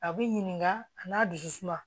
A bɛ ɲininka a n'a dusu suma